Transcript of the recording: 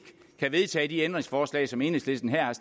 kan vedtage de ændringsforslag som enhedslisten her har